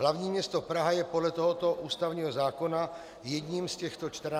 Hlavní město Praha je podle tohoto ústavního zákona jedním z těchto 14 krajů.